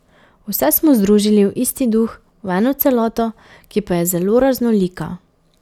Vse smo združili v isti duh, v eno celoto, ki pa je zelo raznolika.